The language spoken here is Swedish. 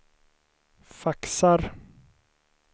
faxar